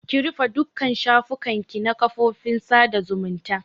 Ki rufe dukka shafukan ki na kafofin sada zumunta!